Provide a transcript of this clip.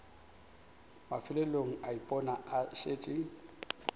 mafelelong a ipona a šetše